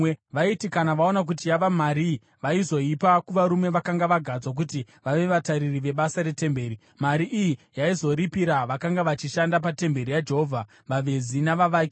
Vaiti kana vaona kuti yava marii, vaizoipa kuvarume vakanga vagadzwa kuti vave vatariri vebasa retemberi. Mari iyi yaizoripira vakanga vachishanda patemberi yaJehovha, vavezi navavaki,